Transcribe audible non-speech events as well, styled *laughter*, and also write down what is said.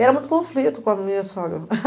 Era muito conflito com a minha sogra. *laughs*